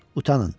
Utanın.